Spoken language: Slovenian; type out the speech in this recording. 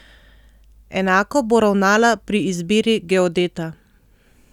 Enako bo ravnala pri izbiri geodeta.